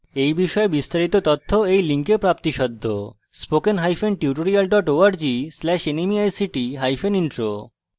এই বিষয়ে বিস্তারিত তথ্য এই লিঙ্কে প্রাপ্তিসাধ্য spoken hyphen tutorial dot org slash nmeict hyphen intro